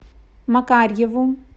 макарьеву